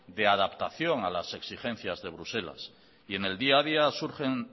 de adaptación a las exigencias de bruselas y en el día a día surgen